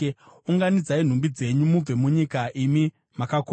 Unganidzai nhumbi dzenyu mubve munyika, imi makakombwa.